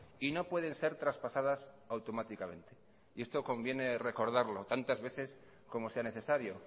y no pueden ser traspasadas automáticamente y esto conviene recordarlo tantas veces como sea necesario